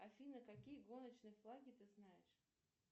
афина какие гоночные флаги ты знаешь